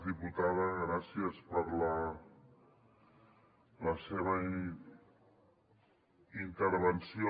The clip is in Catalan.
diputada gràcies per la seva intervenció